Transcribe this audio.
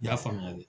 I y'a faamuya de